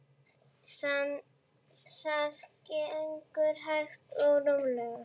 Það gengur hægt og rólega.